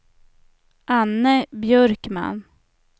Anne Björkman